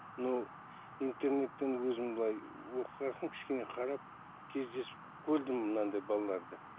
мынау интернеттен өзім былай оқыған соң кішкене қарап кездесіп көрдім мынандай балаларды